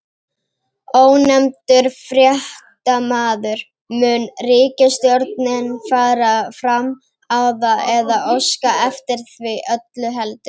Ónefndur fréttamaður: Mun ríkisstjórnin fara fram á það, eða óska eftir því öllu heldur?